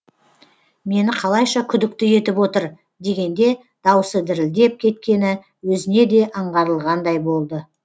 мені қалайша күдікті етіп отыр дегенде даусы дірілдеп кеткені өзіне де аңғарылғандай болды